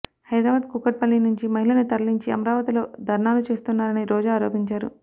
హైదరాబాద్ కూకట్పల్లి నుంచి మహిళలను తరలించి అమరావతిలో ధర్నాలు చేస్తున్నారని రోజా ఆరోపించారు